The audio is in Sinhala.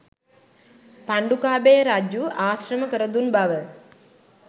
පණ්ඩුකාභය රජු ආශ්‍රම කරදුන් බව